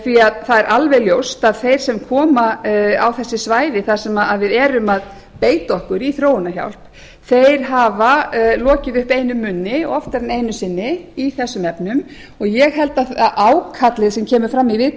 það er alveg ljóst að þeir sem koma á þessi svæði þar sem við erum að beita okkur í þróunarhjálp hafa lokið upp einum munni oftar en einu sinni í þessum efnum ég held að ákallið sem kemur fram í viðtalinu